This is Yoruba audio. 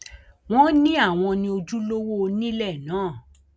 wọn ní àwọn ní ojúlówó onílé náà